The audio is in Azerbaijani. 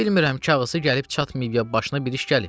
Bilmirəm, ya qısı gəlib çatmayıb, ya başına bir iş gəlib.